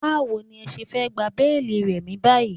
Báwo ní ẹ ṣe fẹ́ gba béélì Remi báyìí?